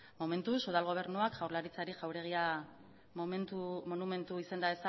momentuz udal gobernuak jaurlaritzari jauregia monumentu izenda